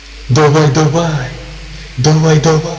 давай давай давай давай